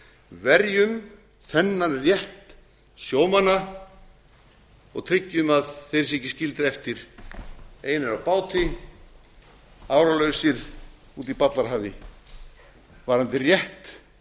verjum þennan rétt sjómanna og tryggjum að þeir séu ekki skildir eftir einir á báti áralausir úti í ballarhafi varðandi rétt